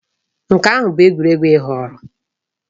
Nke ahụ bụ egwuregwu ị họọrọ?